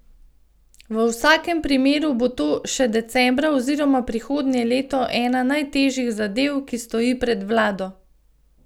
V vsakem primeru bo to še decembra oziroma prihodnje leto ena najtežjih zadev, ki stoji pred vlado.